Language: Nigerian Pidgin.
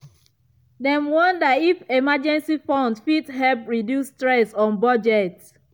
dem wonder if emergency fund fit help reduce stress on budget.